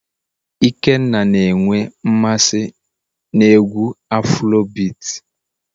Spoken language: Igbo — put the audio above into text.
ikenna na enwe mmasị n'egwu afurobeati